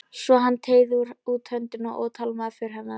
Svo hann teygði út höndina og tálmaði för hennar.